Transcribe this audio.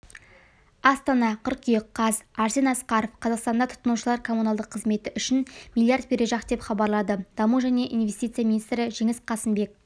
астана қыркүйек қаз арсен асқаров қазақстанда тұтынушылар коммуналдық қызмет үшін миллиард бережақ деп хабарлады даму және инвестиция министрі жеңіс қасымбек